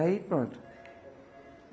Aí pronto.